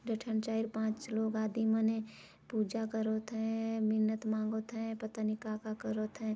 दुई ठन चाइर पाँच लोग आदि मने पुजा करोत है.. मिन्नत मंगोत है..पता नई का -का करत हैं।